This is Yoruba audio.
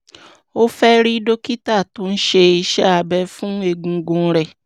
ó fẹ́ rí dókítà tó ń ṣe iṣẹ́ abẹ fún egungun rẹ̀